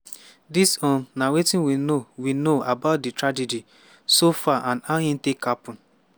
dis um na wetin we know we know about di tragedy so far and how e take happun.